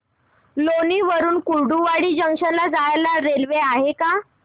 लोणी वरून कुर्डुवाडी जंक्शन ला जायला रेल्वे आहे का